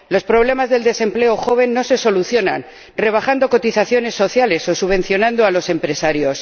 Los problemas del desempleo juvenil no se solucionan rebajando cotizaciones sociales o subvencionando a los empresarios.